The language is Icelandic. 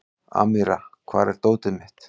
Amíra, hvar er dótið mitt?